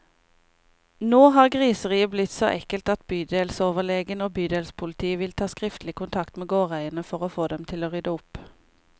Nå har griseriet blitt så ekkelt at bydelsoverlegen og bydelspolitiet vil ta skriftlig kontakt med gårdeierne, for å få dem til å rydde opp.